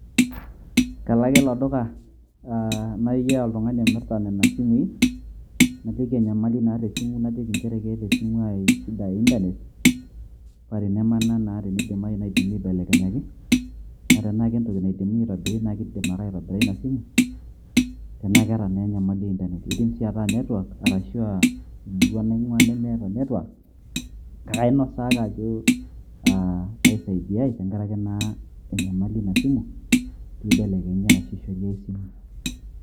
Kalo ake ilo duka, nayiaya oltung'ani omirta nena simui, najoki enyamali naata esimu, najoki njere keeta esimu ai shida e Internet ,pa tenemana naa teneidimayu naidimi aibelekenyaki. Na tenaa kentoki naidimi aitobira na keidim ake aitobira ina simu. Tenaa keeta na enyamali e Internet. Kiidim si ataa netwak arashu aa, emurua naing'ua nemeeta netwak. Kake ainosaa ake ajo ,ah paisaidiai tenkaraki na enyamali ina simu, pibelekenyi arashu aishori ai simu.